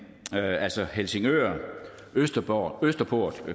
altså helsingør østerport